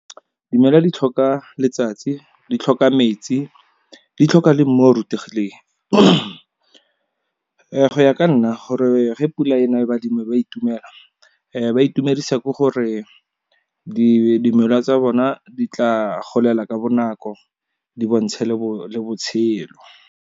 Dimela di tlhoka letsatsi, di tlhoka metsi, di tlhoka le mmu o rutegileng. Go ya ka nna gore ge pula e na e be ba itumela ba itumedisa ke gore dimela tsa bona di tla golela ka bonako, di bontshe le botshelo.